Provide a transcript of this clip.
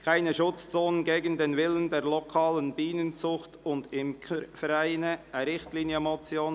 «Keine Schutzzonen gegen den Willen der lokalen Bienenzucht- und Imkervereine», eine Richtlinienmotion.